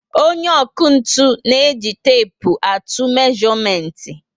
Onye ọkụ ntụ na eji tepu atụ mezuomenti